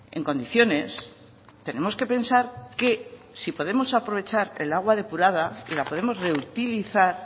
en condiciones tenemos que pensar que si podemos aprovechar el agua depurada y la podemos reutilizar